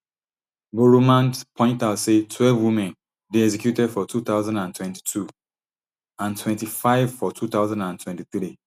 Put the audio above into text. boroumand point out say twelve women dey executed for two thousand and twenty-two and twenty-five for two thousand and twenty-three